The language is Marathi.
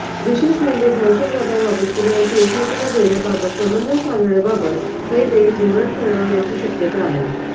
विशेष म्हणजे दहशतवादाबाबतची माहिती एकमेकांना देण्याबाबत समन्वय साधण्याबाबत हे देश धोरण ठरवण्याची शक्यता आहे